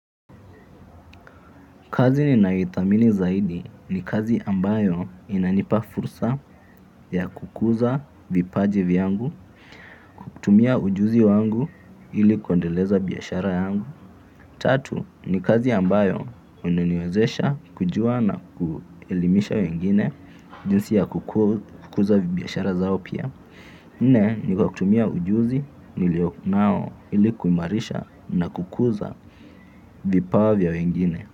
Kazi ninayoitamini zaidi ni kazi ambayo inanipa fursa ya kukuza vipaji vyangu, kutumia ujuzi wangu ili kuendeleza biashara yangu. Tatu ni kazi ambayo unaniwezesha kujua na kuelimisha wengine jinsi ya kukuza biashara zao pia. Nne ni kwa kutumia ujuzi nilio nao ili kuimarisha na kukuza vipawa vya wengine.